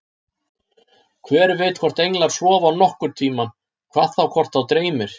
Hver veit hvort englar sofa nokkurn tímann, hvað þá hvort þá dreymir.